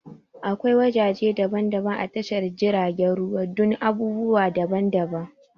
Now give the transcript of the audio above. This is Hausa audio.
Akwai wajaje daban-daban a tashar jiragen ruwa dun abubuwa daban daban